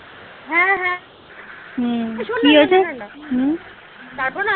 হ্যাঁ হ্যাঁ তারপর না